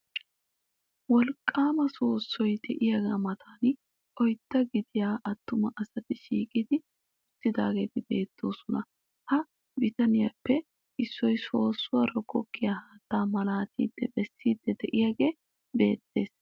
Wolqqaama soossoy de'iyagaa matan oydda gidiya attuma asati shiiqi uttidaageeti beettoosona. Ha bitanetuppe issoysoossuwara goggiya haattaa malaatidi bessiiddi de'iyogee beettees.